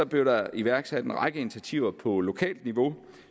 blev der iværksat en række initiativer på lokalt niveau